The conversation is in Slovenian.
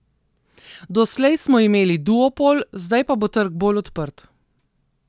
Doslej smo imeli duopol, zdaj pa bo trg bolj odprt.